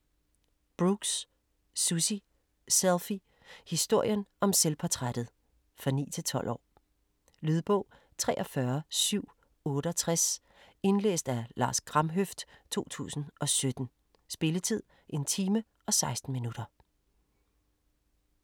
Brooks, Susie: Selfie: historien om selvportrættet For 9-12 år. Lydbog 43768 Indlæst af Lars Kramhøft, 2017. Spilletid: 1 time, 16 minutter.